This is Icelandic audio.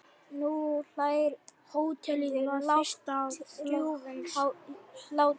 Nú hlærðu, lágum hrjúfum hlátri.